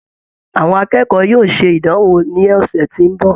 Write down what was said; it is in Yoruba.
Àwọn akẹ́kọ̀ọ́ yóò ṣe ìdánwò ni ọsẹ̀ tí ó ń bọ̀.